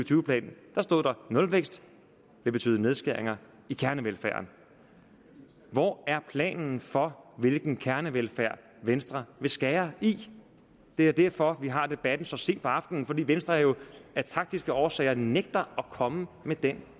tyve plan stod nulvækst vil betyde nedskæringer i kernevelfærden hvor er planen for hvilken kernevelfærd venstre vil skære i det er derfor vi har debatten så sent på aftenen fordi venstre jo af taktiske årsager nægter at komme med den